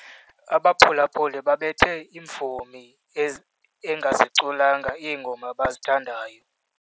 Abaphulaphuli babethe imvumi engaziculanga iingoma abazithandayo.